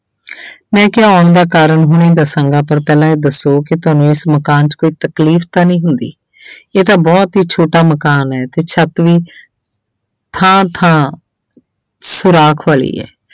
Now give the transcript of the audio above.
ਮੈਂ ਕਿਹਾ ਆਉਣ ਦਾ ਕਾਰਨ ਹੁਣੇ ਦੱਸਾਂਗਾ ਪਰ ਪਹਿਲਾਂ ਇਹ ਦੱਸੋ ਕਿ ਤੁਹਾਨੂੰ ਇਸ ਮਕਾਨ 'ਚ ਕੋਈ ਤਕਲੀਫ਼ ਤਾਂ ਨਹੀਂ ਹੁੰਦੀ ਇਹ ਤਾਂ ਬਹੁਤ ਹੀ ਛੋਟਾ ਮਕਾਨ ਹੈ ਤੇ ਛੱਤ ਵੀ ਥਾਂ ਥਾਂ ਸੁਰਾਖ ਵਾਲੀ ਹੈ।